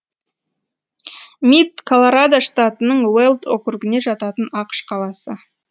мид колорадо штатының уэлд округіне жататын ақш қаласы